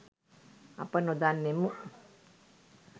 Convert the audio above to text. අප නොදන්නෙමු